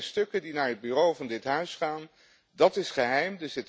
Want dat zijn stukken die naar het Bureau van dit huis gaan, dat is geheim.